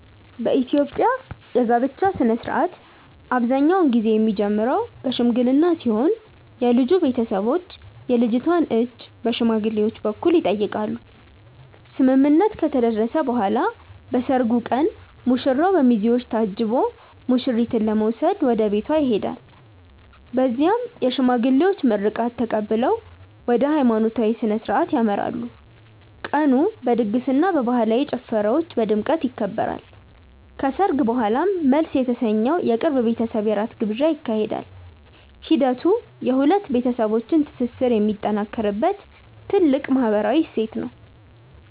የኢትዮጵያ የጋብቻ ሥነ ሥርዓት አብዛኛውን ጊዜ የሚጀምረው በሽምግልና ሲሆን የልጁ ቤተሰቦች የልጅቷን እጅ በሽማግሌዎች በኩል ይጠይቃሉ። ስምምነት ከተደረሰ በኋላ በሰርጉ ቀን ሙሽራው በሚዜዎች ታጅቦ ሙሽሪትን ለመውሰድ ወደ ቤቷ ይሄዳል። በዚያም የሽማግሌዎች ምርቃት ተቀብለው ወደ ሃይማኖታዊ ሥነ ሥርዓት ያመራሉ። ቀኑ በድግስና በባህላዊ ጭፈራዎች በድምቀት ይከበራል። ከሰርግ በኋላም መልስ የተሰኘው የቅርብ ቤተሰብ የራት ግብዣ ይካሄዳል። ሂደቱ የሁለት ቤተሰቦች ትስስር የሚጠናከርበት ትልቅ ማህበራዊ እሴት ነው።